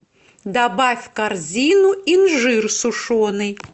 добавь в корзину инжир сушеный